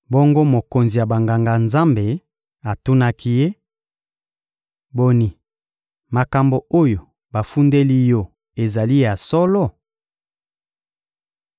Bongo, mokonzi ya Banganga-Nzambe atunaki ye: — Boni, makambo oyo bafundeli yo ezali ya solo?